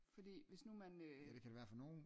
Fordi hvis nu man øh